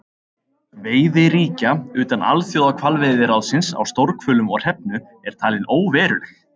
Veiði ríkja utan Alþjóðahvalveiðiráðsins á stórhvölum og hrefnu er talin óveruleg.